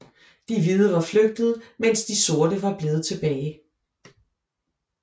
De hvide var flygtet mens de sorte var blevet tilbage